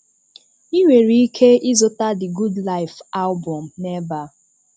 Ị̀ nwere ike ị̀zụta the good life album n’ebe a.